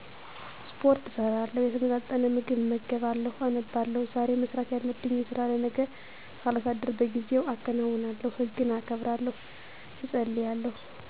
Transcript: ስፖርት እሰራለሁ፣ የተመጣጠነ ምግብ እመገባለሁ፣ አነባለሁ፣ ዛሬ መስራት ያለብኝን ስራ ለነገ ሳላሳድር በጊዜው አከናውናለሁ፣ ሕግን አከብራለሁ፣ እፀልያለሁ